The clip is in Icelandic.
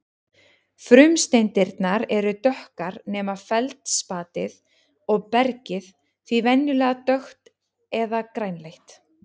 Frumsteindirnar eru dökkar nema feldspatið og bergið því venjulega dökkt eða grænleitt.